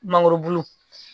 Mangoro bulu